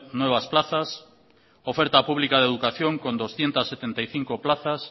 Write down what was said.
nuevas plazas oferta pública de educación con doscientos setenta y cinco plazas